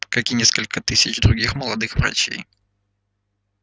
как и несколько тысяч других молодых врачей